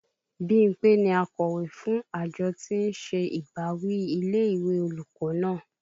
Bímpé ni akọ̀wé fún àjọ tí ń ṣe ìbáwí ilé ìwé olùkọ́ náà